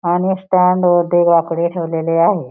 आणि स्टॅन्डवरती बाकडे ठेवलेले आहे.